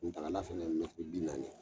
Kunagal fana ye mɛtiri bi .naani ye